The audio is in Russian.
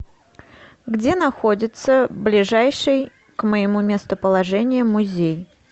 где находится ближайший к моему местоположению музей